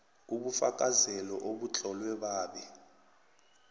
ubufakazelo obutlolwe babe